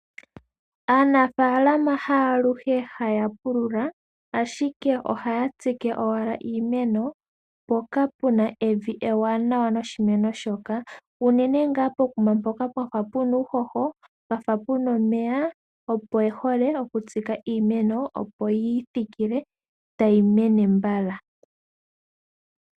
Aanafaalama haaluhe haya pulula ashike ohaya tsike owala iimeno mpoka puna evi ewanawa noshimeno shoka unene ngaa pokuma mpoka pwa fa puna uuhoho, pwa fa puna omeya opo ye hole okutsika iimeno opo yi thikile tayi mene mbala.